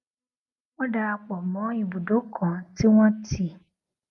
wón darapò mó ibùdó kan tí wón ti